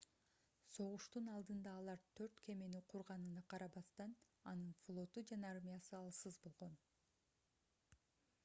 согуштун алдында алар төрт кемени курганына карабастан анын флоту жана армиясы алсыз болгон